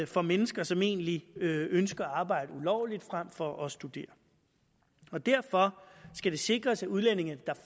for mennesker som egentlig ønsker at arbejde ulovligt frem for at studere og derfor skal det sikres at udlændinge der